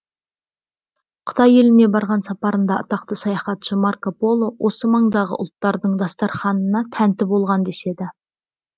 қытай еліне барған сапарында атақты саяхатшы марко поло осы маңдағы ұлттардың дастарханына тәнті болған деседі